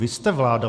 Vy jste vláda.